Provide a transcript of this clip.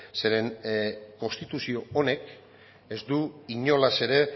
zeren konstituzio honek ez du inolaz ere